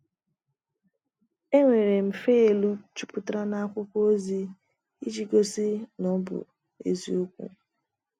“ Enwere m faịlụ jupụtara n’akwụkwọ ozi ịji gosi na na ọ bụ eziokwu. ”